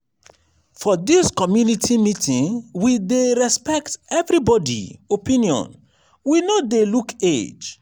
for dis community meeting we dey respect everybodi opinion we no dey look age.